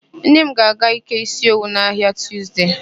Nne m ga-aga ịke ísí owu n'ahịa na Tuzde.